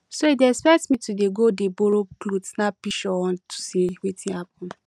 so you dey expect me to dey go dey borrow cloth snap pishure on to say wetin happen